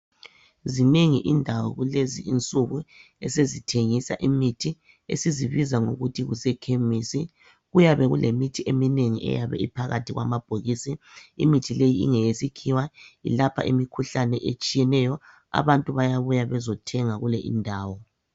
Zinengi indawo kulezinsuku esezithengisa imithi , esizibiza ngokuthi kuse Khemisi . Kuyabe kulemithi eminengi eyabe iphakathi kwamabhokisi . Imithi leyi ingeyesikhiwa. Ilapha imikhuhlane etshiyeneyo. Abantu bayabuya bezothenga kule indawo.